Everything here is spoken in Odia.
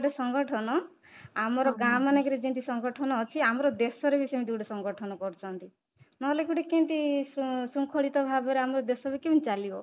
ଗୋଟେ ସଂଗଠନ ଆମର ଗାଁ ମାନଙ୍କରେ ଯେମିତି ସଂଗଠନ ଅଛି ଆମର ଦେଶରେ ବି ସେମିତି ଗୋଟେ ସଂଗଠନ କରିଛନ୍ତି, ନହେଲେ ଗୋଟେ କେମିତି ଶୃଙ୍ଖଳିତ ଭାବରେ ଆମ ଦେଶ ବି କେମିତି ଚାଲିବ